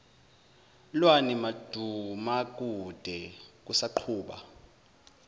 lwani madumakude kusaqhuba